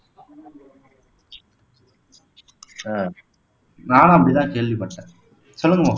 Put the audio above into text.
ஆஹ் நானும் அப்படித்தான் கேள்விப்பட்டேன் சொல்லுங்க மா